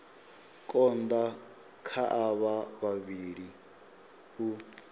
konda kha avho vhavhili u